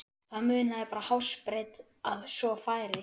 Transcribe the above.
Það munaði bara hársbreidd að svo færi.